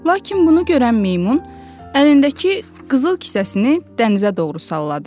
Lakin bunu görən meymun, əlindəki qızıl kisəsini dənizə doğru salladı.